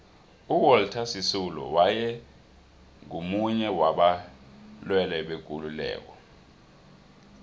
uwalter sisulu waye ngumunye waba lwelibekululeko